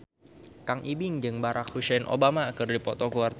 Kang Ibing jeung Barack Hussein Obama keur dipoto ku wartawan